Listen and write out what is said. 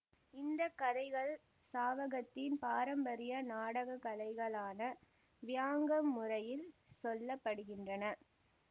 இந்த கதைகள் சாவகத்தின் பாரம்பரிய நாடகக்கலைகளான வயாங் முறையில் சொல்லப்படுகின்றன